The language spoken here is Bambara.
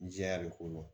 Jɛya de ko don